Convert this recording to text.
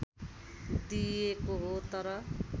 दिइएको हो तर